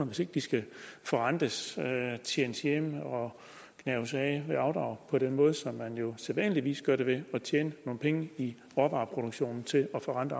hvis ikke de skal forrentes tjenes hjem og gnaves af ved afdrag på den måde som man jo sædvanligvis gør det altså ved at tjene nogle penge i råvareproduktionen til at forrente